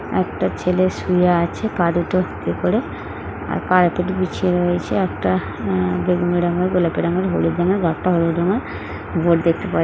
একটা ছেলে শুয়ে আছে পা দুটো আর দুটো বিছিয়ে রয়েছে একটা আ বেগনি রঙের গোলাপি রঙের হুলুদ রঙের হুলুদ রঙের দেখতে পাওয়া--